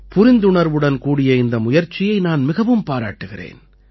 புரிந்துணர்வுடன் கூடிய இந்த முயற்சியை நான் மிகவும் பாராட்டுகிறேன்